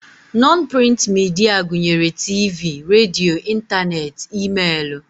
Nọn prịnt midia gụnyere tiivii, radio, ịntaneetị, e-meelụ